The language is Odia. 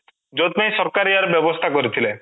ଯୋଉଁଥିପାଇଁ ସରକାର ୟାର ବ୍ୟବସ୍ଥା କରିଥିଲେ